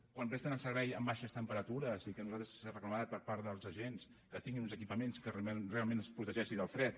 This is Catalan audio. quan presten el servei amb baixes temperatures i que s’ha reclamat per part dels agents que tinguin uns equipaments que realment els protegeixi del fred